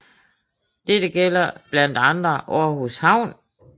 Dette gælder blandt andre Aarhus havn